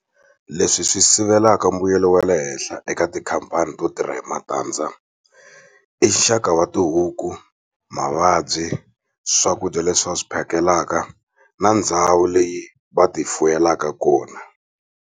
Leswi swi sivelaka mbuyelo wa le henhla eka tikhampani to tirha hi matandza i nxaka wa tihuku mavabyi swakudya leswi va swi phakelaka na ndhawu leyi va ti fuyelaka kona.